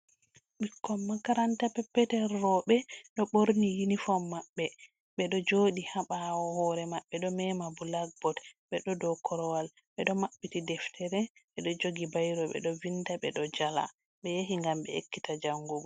Ɓikkon makaranta peppetel rowɓe, ɗo ɓorni unifom maɓɓe, ɓe ɗo jooɗi haa ɓaawo, hoore maɓɓe ɗo mema bulakbood, ɓe ɗo dow korowal, ɓe ɗo maɓɓiti deftere be ɗo jogi bayro, ɓe ɗo vinnda, ɓe ɗo jala, ɓe yahi ngam ɓe ekkita janngugo.